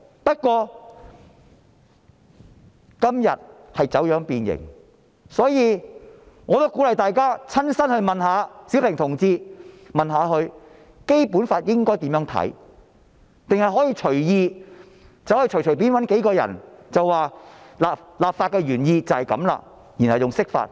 不過，今天已走樣變形，所以，我鼓勵大家親身去詢問小平同志應該如何理解《基本法》，而不是隨便找幾個人解釋立法原意，然後說這便是釋法。